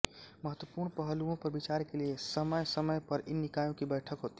महत्वपूर्ण पहलुओं पर विचार के लिए समयसमय पर इन निकायों की बैठक होती हैं